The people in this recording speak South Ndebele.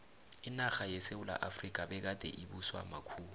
inarha yesewula efrika begade ibuswa makhuwa